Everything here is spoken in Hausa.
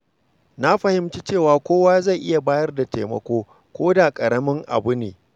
Na fahimci cewa kowa zai iya bayar da taimako, koda da ƙaramin abu ne.